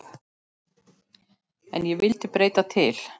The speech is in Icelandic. En ég vildi breyta til.